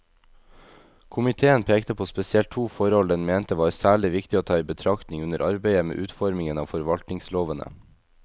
Komiteen pekte på spesielt to forhold den mente var særlig viktig å ta i betraktning under arbeidet med utformingen av forvaltningslovene.